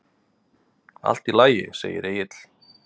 Allt í lagi, segir Egill.